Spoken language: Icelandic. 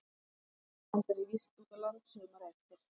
Við Linda vorum sendar í vist út á land sumarið eftir.